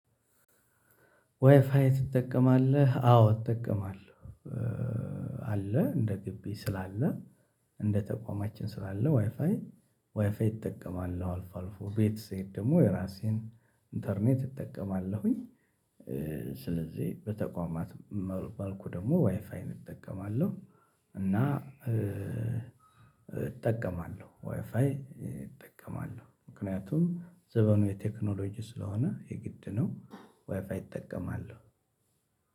ዋይፋይ ትጠቀማለህ አዎ እጠቀማለሁ። አለ እንደ ግቢ ስላለ እንደ ተቋማችን ስላለ ዋይፋይ ዋይፋዬ እጠቀማለሁ አልፎ አልፎ ቤት ስሄድ ደሞ የራሴን ኢንተርኔት እጠቀማለሁኝ። ስለዚህ በተቋማት መልኩ ደሞ ዋይፋይን እጠቀማለሁ። እና እጠቀማለሁ ዋይፋይ እጠቀማለሁ ምክንያቱም ዘመኑ የቴክኖሎጂ ስለሆነ የግድ ነው። ዋይፋይ እጠቀማለሁ።